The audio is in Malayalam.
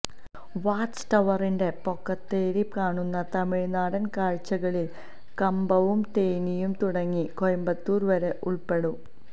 വാച്ച് ടവറിന്റെ പൊക്കത്തേറി കാണുന്ന തമിഴ്നാടന് കാഴ്ചകളില് കമ്പവും തേനിയും തുടങ്ങി കോയമ്പത്തൂര് വരെ ഉള്പ്പെടും